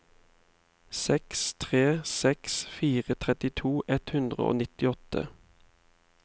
seks tre seks fire trettito ett hundre og nittiåtte